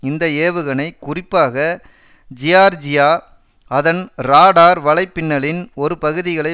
இந்த ஏவுகணை குறிப்பாக ஜியார்ஜியா அதன் ராடார் வலைப்பின்னலின் ஒரு பகுதிகளை